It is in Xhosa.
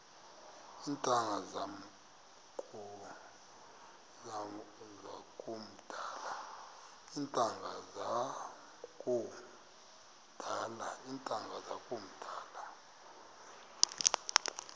iintanga zam kudala